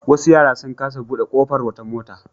Wasu yara sun kasa buɗe ƙofar wata mota.